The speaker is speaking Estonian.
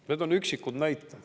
" Need on üksikud näited.